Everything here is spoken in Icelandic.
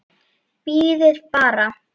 Bíðið bara.